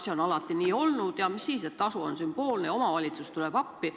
See on alati nii olnud ja mis siis, et tasu on sümboolne, küll omavalitsus tuleb appi.